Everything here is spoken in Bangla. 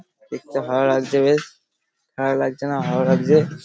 দেখতে ভালো লাগছে বেশ খারাপ লাগছেনা ভালো লাগছে।